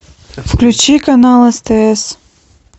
включи канал стс